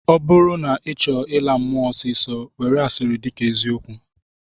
Ọ bụrụ na ị chọọ ịla mmụọ ọsịịsọ, were asịrị dịka eziokwu